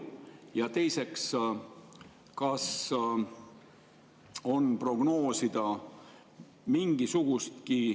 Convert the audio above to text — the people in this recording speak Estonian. Ja teiseks, kas on prognoosida mingisugustki …